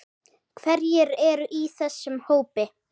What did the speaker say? Hverjir eru í þessum hópi?